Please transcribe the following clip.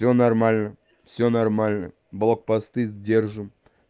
всё нормально всё нормально блокпосты держим